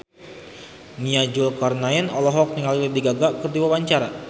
Nia Zulkarnaen olohok ningali Lady Gaga keur diwawancara